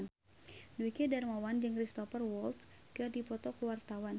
Dwiki Darmawan jeung Cristhoper Waltz keur dipoto ku wartawan